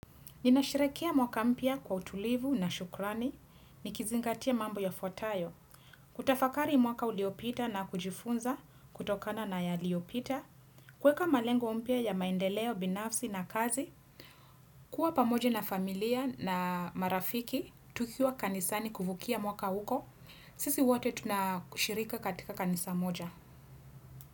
Ninasherehekea mwaka mpya kwa utulivu na shukrani, nikizingatia mambo yafuatayo, kutafakari mwaka uliopita na kujifunza kutokana na yaliopita, kuweka malengo mpya ya mandeleo binafsi na kazi, kuwa pamoja na familia na marafiki, tukiwa kanisani kuvukia mwaka huko, sisi wote tunashirika katika kanisa moja.